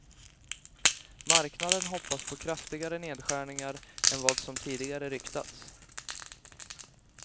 Marknaden hoppas på kraftigare nedskärningar än vad som tidigare ryktats.